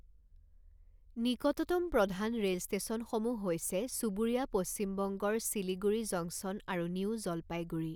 নিকটতম প্ৰধান ৰেল ষ্টেচনসমূহ হৈছে চুবুৰীয়া পশ্চিম বংগৰ শিলিগুৰি জংচন আৰু নিউ জলপাইগুৰি।